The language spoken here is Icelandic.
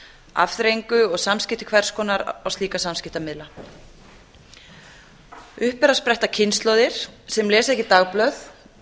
afþreyingu og samskipti hvers konar á slíka samskiptamiðlar upp eru að spretta kynslóðir sem lesa ekki dagblöð